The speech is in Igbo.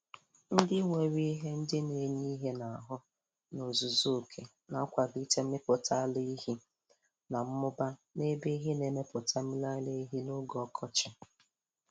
Nri nwere ihe ndị na-enye ihe n'ahụ n' ozuzu oke na-akwalite mmipụta mmiri ara ehi mmiri ara ehi na mmụba n' ebe ehi na-emepụta mmiri ara ehi n'oge ọkọchị.